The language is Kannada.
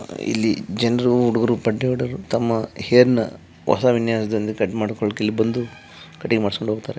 ಇಲ್ಲಿ ಜನರು ಹುಡುಗರು ತಮ್ಮ ಹೇರ್ ನ ಬಹಳ ವಿನ್ಯಸದಿಂದ ಕಟ್ ಮಾಡ್ಕೋಳೋಕೆ ಇಲ್ಲಿ ಬಂದು ಕಟಿಂಗ್ ಮಾಡಿಸಿಕೊಂಡು ಹೋಗ್ತಾರೆ.